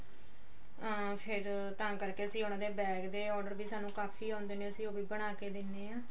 ਅਮ ਫ਼ੇਰ ਤਾਂ ਕਰਕੇ ਅਸੀਂ ਉਹਨਾਂ ਦੇ bag ਦੇ order ਵੀ ਸਾਨੂੰ ਕਾਫੀ ਆਉੰਦੇ ਨੇ ਅਸੀਂ ਉਹ ਵੀ ਬਣਾ ਕੇ ਦਿਨੇ ਆ